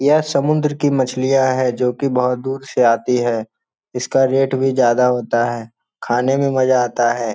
यह समुद्र की मछलियाँ हैं जो की बहुत दूर से आती है इसका रेट भी ज्यादा होता है खाने में मजा आता है।